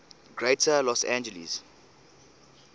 greater los angeles